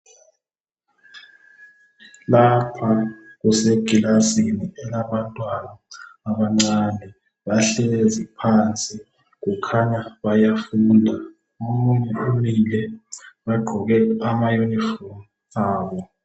Lapha kusekilasini kulabantwana abancane bahlezi phansi. Kukhanya bayafunda. Bagqoke amayunifomu abo.